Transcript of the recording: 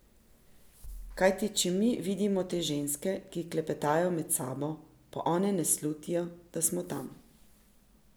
Kajti če mi vidimo te ženske, ki klepetajo med sabo, pa one ne slutijo, da smo tam.